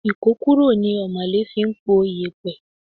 Ikokuro ni omole fi ń po iyẹpẹ.